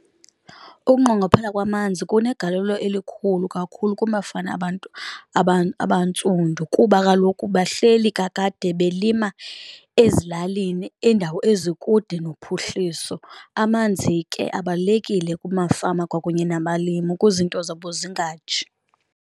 Ukunqongophala kwamanzi kunegalelo elikhulu kakhulu kumafama abantu abantsundu kuba kaloku bahleli kakade belima ezilalini indawo ezikude nophuhliso. Amanzi ke abalulekile kumafama kwakunye nabalimi ukuze iinto zabo zingatshi.